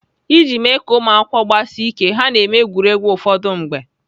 Iji mee ka ụmụakwụkwọ gbasie ike, ha na-eme egwuregwu ụfọdụ mgbe.